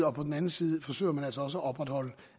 og på den anden side forsøger man altså også at opretholde